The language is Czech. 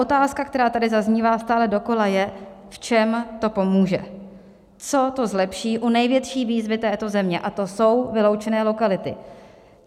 Otázka, která tady zaznívá stále dokola, je, v čem to pomůže, co to zlepší u největší výzvy této země, a to jsou vyloučené lokality.